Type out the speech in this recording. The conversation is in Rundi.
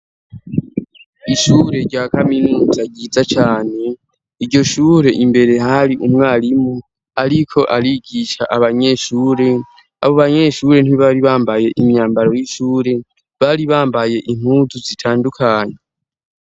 Ishure rya kaminuza ryiza cane, iryo shure imbere hari umwarimu ariko arigisha abanyeshure, abo banyeshure ntibari bambaye imyambaro y'ishure, bari bambaye impuzu zitandukanye.